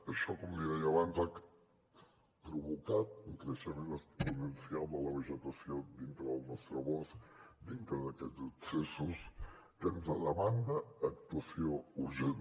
això com li deia abans ha provocat un creixement exponencial de la vegetació dintre del nostre bosc dintre d’aquests accessos que ens demanda actuació urgent